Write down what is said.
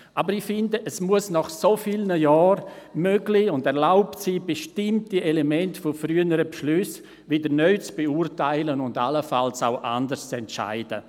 Aber nach so vielen Jahren sollte es möglich und erlaubt sein, bestimmte Elemente früherer Beschlüsse wieder neu zu beurteilen und allenfalls auch anders zu entscheiden.